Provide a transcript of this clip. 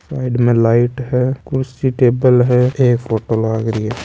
साइड में लाइट है कुर्सी टेबल है एक फोटो लाग रही है।